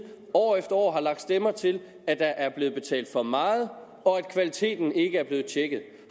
år efter år har lagt stemmer til at der er blevet betalt for meget og at kvaliteten ikke er blevet tjekket